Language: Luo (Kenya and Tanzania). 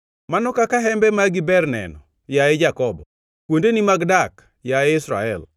“Mano kaka hembe magi ber neno, yaye Jakobo, kuondeni mag dak, yaye Israel!